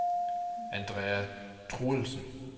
Andrea Truelsen